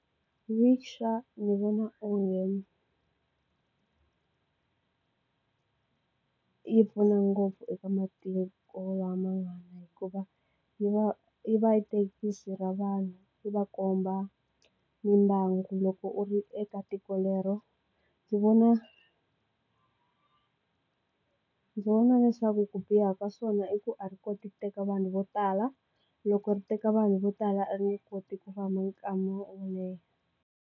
Ndzi vona onge yi pfuna ngopfu eka matiko lavan'wana hikuva yi va yi va yi thekisi ra vanhu yi va komba mimbangu loko u ri eka tiko lero ndzi vona ndzi vona leswaku ku biha ka swona i ku a ri koti ku teka vanhu vo tala loko ri teka vanhu vo tala a ri nge koti ku famba .